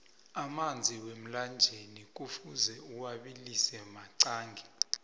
amanzi wemlanjeni kufuze uwabilise maqangi